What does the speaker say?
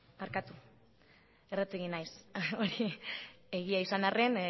barkatu erratu egin naiz hori egia izan arren